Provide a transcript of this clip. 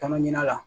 Taama ɲina la